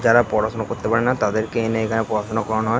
যারা পড়াশুনা করতে পারে না তাদেরকে এনে এখানে পড়াশুনা করানো হয়--